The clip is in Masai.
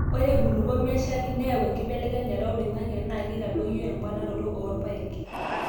ore enkulupuok nemeshal nayau enkibelekenyata olaing'ange naa keitadoyio emponaroto oorpaek.